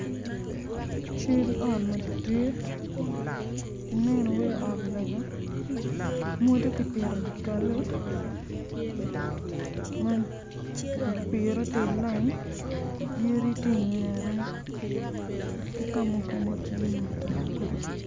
Cal ot madit ma bedo calo cal ot lega ma mwodo opire tye i layin yadi tye i ki ka mukene tye matar.